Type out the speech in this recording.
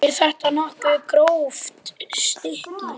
Er þetta nokkuð gróft stykki?